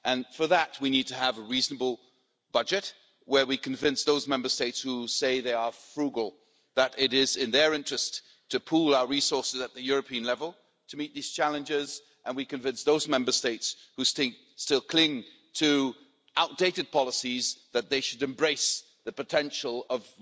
For that, we need to have a reasonable budget where we convince those Member States who say they are frugal, that it is in their interest to pool our resources at the European level to meet these challenges and we convince those Member States who still cling to outdated policies, that they should embrace the potential of